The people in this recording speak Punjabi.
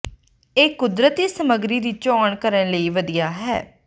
ਇਹ ਕੁਦਰਤੀ ਸਮੱਗਰੀ ਦੀ ਚੋਣ ਕਰਨ ਲਈ ਵਧੀਆ ਹੈ